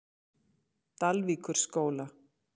Dalvíkurskóla